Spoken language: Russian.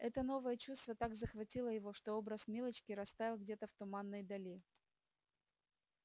это новое чувство так захватило его что образ милочки растаял где-то в туманной дали